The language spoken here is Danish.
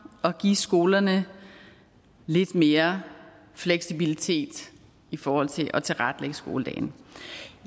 og give skolerne lidt mere fleksibilitet i forhold til at tilrettelægge skoledagen